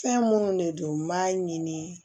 Fɛn minnu de don n b'a ɲini